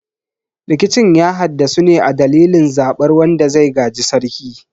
Rikicin ya haddasu ne a dalilin zabar wanda zai gaji sarki.